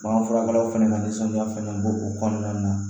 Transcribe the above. Bagan furakɛlaw fɛnɛ ka nisɔndiya fɛnɛ bo o kɔnɔna na